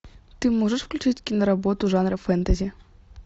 ты можешь включить киноработу жанра фэнтези